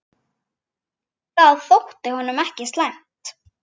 Það þótti honum ekki slæmt.